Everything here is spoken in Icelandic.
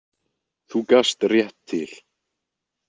Þú gast rétt til.